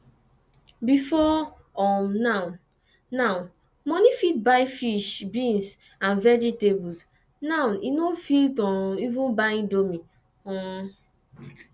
before um now now money fit buy fish beans and vegetables now e no fit um even buy indomie um